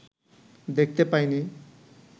দেখতে পায় নি